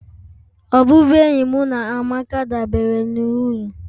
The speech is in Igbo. Ọbụbụenyi mụ na Amaka dabere na uru